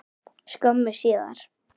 skömmu síðar.